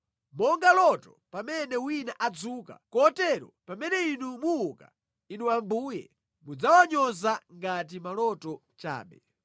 Monga loto pamene wina adzuka, kotero pamene Inu muuka, Inu Ambuye, mudzawanyoza ngati maloto chabe.